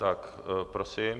Tak prosím.